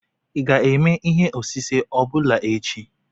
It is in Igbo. ị ga-eme ihe osise ọ bụla echi?